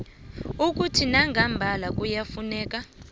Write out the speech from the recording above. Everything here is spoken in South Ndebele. ukuthi nangambala kuyafuneka